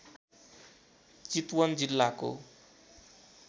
चितवन जिल्लाको